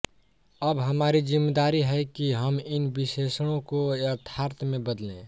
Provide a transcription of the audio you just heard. अब हमारी जिम्मेदारी है कि हम इन विशेषणों को यथार्थ में बदलें